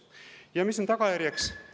Ja mis on tagajärjeks?